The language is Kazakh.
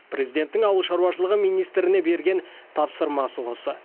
президенттің ауыл шаруашылығы министріне берген тапсырмасы осы